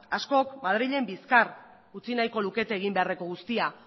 askok madrilen bizkar utzi nahiko lukete egin beharreko guztia